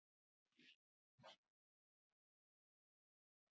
Vil ekki heyra þessi hljóð.